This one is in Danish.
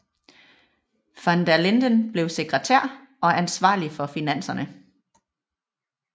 Van der Linden blev sekretær og ansvarlig for finanserne